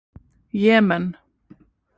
Jemen